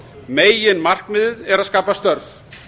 meginmarkmiðið er að skapa störf